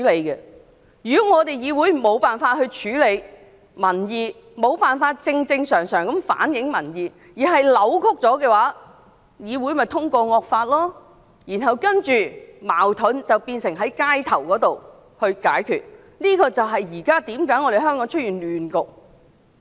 如果議會無法處理民意，無法正正常常地反映民意，反而是扭曲民意的話，這種議會便能通過惡法，然後將解決矛盾的問題帶到社區之中，這正是香港現在出現亂局的原因。